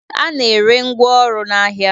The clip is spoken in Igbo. A na-ere ngwaọrụ n'ahịa